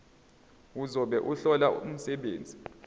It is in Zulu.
ozobe ehlola umsebenzi